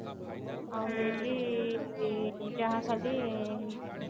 ଆଉ ଯାହା ଖାଲି